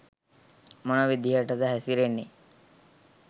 මොන විදිහටද හැසිරෙන්නේ